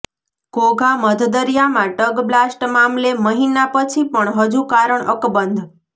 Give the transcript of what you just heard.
ઘોઘા મધદરિયામાં tug blast મામલે મહિના પછી પણ હજુ કારણ અકબંધ